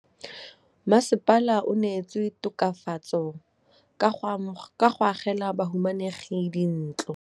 Mmasepala o neetse tokafatsô ka go agela bahumanegi dintlo.